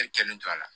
E kɛlen to a la